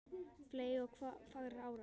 fley ok fagrar árar